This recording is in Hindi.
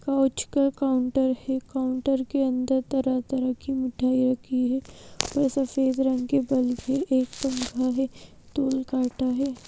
काउच का काउंटर है काउंटर के अंदर तरह-तरह की मिठाई रखी है और सफेद रंग के बल है एक पंखा है टोल काटा है।